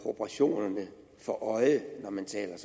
proportionerne for øje når man taler